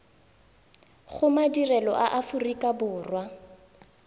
go madirelo a aforika borwa